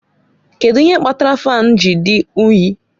Kedu ihe kpatara fáan ji dị unyi?